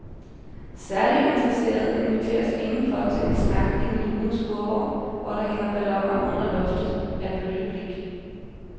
Særligt interesserede inviteres inden for til en snak i den lune skurvogn, hvor der hænger balloner under loftet af bølgeblik.